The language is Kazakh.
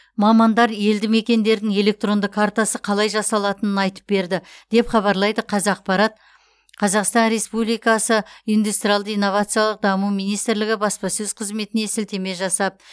мамандар елді мекендердің электронды картасы қалай жасалатынын айтып берді деп хабарлайды қазақпарат қазақстан республикасы индустриалды инновациялық даму министрлігі баспасөз қызметіне сілтеме жасап